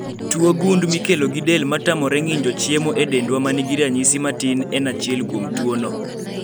Tuo gund mikelo gi del matamore ng'injo chiemo e dendwa manigi ranyisi matin en achiel kuom tuo no